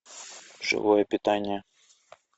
живое питание